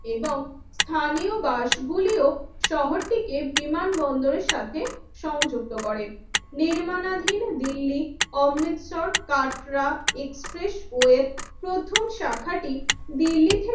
এবং স্থানীয় বাসগুলিও শহরটিকে বিমানবন্দরের সাথে সংযুক্ত করে নির্মানাধীন দিল্লি অমৃতসর কাটরা এক্সপ্রেস ওয়েব প্রথম শাখাটি দিল্লি থেকে